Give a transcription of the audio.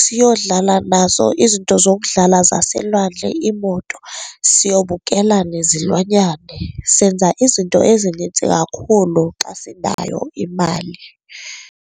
Siyodlala naso izinto zokudlala zaselwandle, iimoto siyobukela nezilwanyane. Senza izinto ezinintsi kakhulu xa sinayo imali.